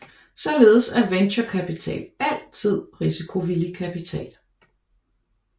Således er venturekapital altid risikovillig kapital